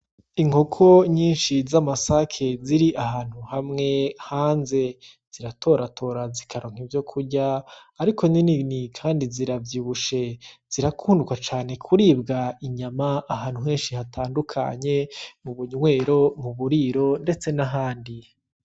Inkoko nyinshi z'amasake ziri ahantu hamwe hanze ziratoratora zikaronka Ivyo kurya Ariko ninini Kandi ziravyibushe Kandi zirakundwa cane kuribwa inyama Ahantu henshi hatandukanye mu bunywero mu buriro ndetse n'ahandi.